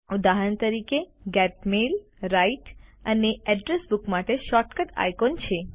ઉદાહરણ તરીકે get mail write અને એડ્રેસ બુક માટે શોર્ટકટ આઇકોન છે